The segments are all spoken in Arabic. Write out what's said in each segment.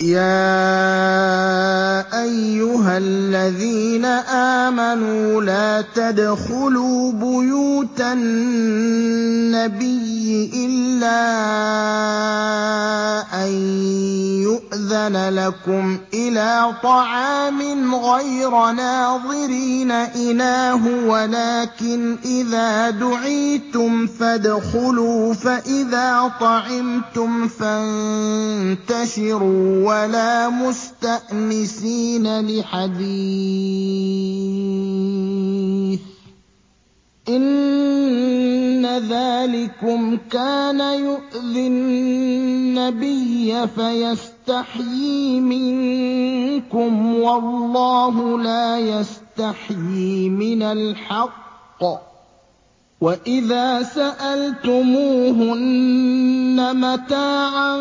يَا أَيُّهَا الَّذِينَ آمَنُوا لَا تَدْخُلُوا بُيُوتَ النَّبِيِّ إِلَّا أَن يُؤْذَنَ لَكُمْ إِلَىٰ طَعَامٍ غَيْرَ نَاظِرِينَ إِنَاهُ وَلَٰكِنْ إِذَا دُعِيتُمْ فَادْخُلُوا فَإِذَا طَعِمْتُمْ فَانتَشِرُوا وَلَا مُسْتَأْنِسِينَ لِحَدِيثٍ ۚ إِنَّ ذَٰلِكُمْ كَانَ يُؤْذِي النَّبِيَّ فَيَسْتَحْيِي مِنكُمْ ۖ وَاللَّهُ لَا يَسْتَحْيِي مِنَ الْحَقِّ ۚ وَإِذَا سَأَلْتُمُوهُنَّ مَتَاعًا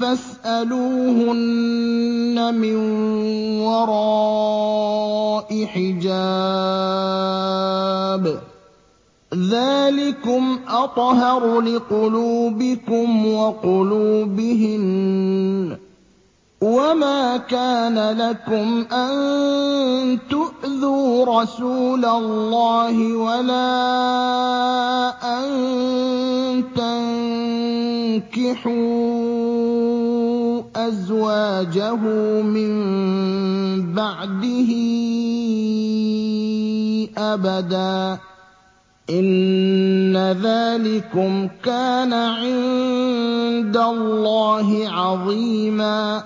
فَاسْأَلُوهُنَّ مِن وَرَاءِ حِجَابٍ ۚ ذَٰلِكُمْ أَطْهَرُ لِقُلُوبِكُمْ وَقُلُوبِهِنَّ ۚ وَمَا كَانَ لَكُمْ أَن تُؤْذُوا رَسُولَ اللَّهِ وَلَا أَن تَنكِحُوا أَزْوَاجَهُ مِن بَعْدِهِ أَبَدًا ۚ إِنَّ ذَٰلِكُمْ كَانَ عِندَ اللَّهِ عَظِيمًا